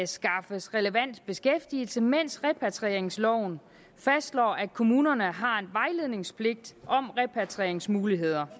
skaffes relevant beskæftigelse mens repatrieringsloven fastslår at kommunerne har en vejledningspligt om repatrieringsmuligheder